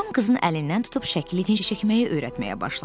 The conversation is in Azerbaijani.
Tom qızın əlindən tutub şəkli necə çəkməyi öyrətməyə başladı.